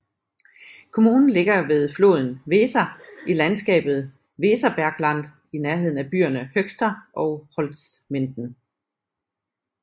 Kommunen ligger ved floden Weser i landskabet Weserbergland i nærheden af byerne Höxter og Holzminden